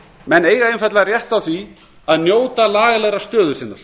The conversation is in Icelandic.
menn eiga einfaldlega rétt á því að njóta lagalegrar stöðu sinnar